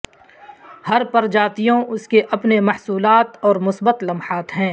ہر پرجاتیوں اس کے اپنے محصولات اور مثبت لمحات ہیں